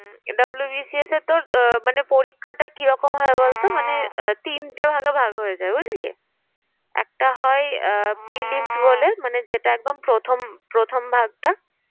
WBCS এর তোর আহ মানে পরীক্ষাটা কিরকম হয় বলতো মানে তিনটে ভাগে ভাগ হয়ে যায় বুঝলি? একটা হয় prilims বলে মানে যেটা একদম প্রথম প্রথম ভাগ টা